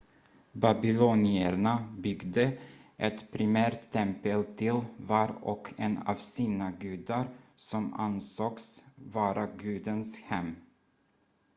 babylonierna byggde ett primärt tempel till var och en av sina gudar som ansågs vara gudens hem